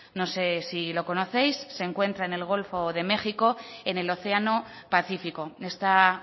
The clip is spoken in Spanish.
no sé si lo conocéis se encuentra en el golfo de méxico en el océano pacífico está